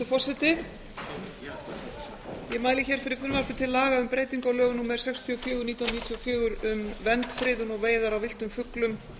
ég mæli hér fyrir frumvarpi til laga um breytingu á lögum númer sextíu og fjögur nítján hundruð níutíu og fjögur um vernd friðun og veiðar á villtum fuglum